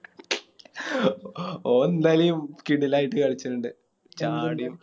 ഓൻ എന്തായിലും കിടിലായിട്ട് കളിച്ചണിണ്ട് ചാടിയും